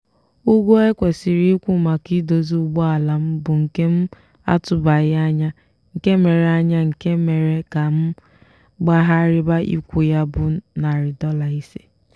ụgwọ ekwesiri ịkwụ maka idozi ụgbọala m bụ nke m atụbaghị anya nke mere anya nke mere ka m gbaghariba ịkwụ ya bụ nari dola ise.